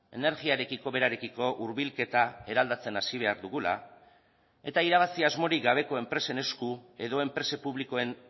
energiarekiko berarekiko hurbilketa eraldatzen hasi behar dugula eta irabazi asmorik gabeko enpresen esku edo enpresa publikoen